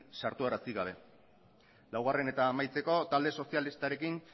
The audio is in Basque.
sartarazi gabe laugarren eta amaitzeko talde sozialistarekin